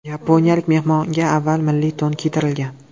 Yaponiyalik mehmonga avval milliy to‘n kiydirilgan.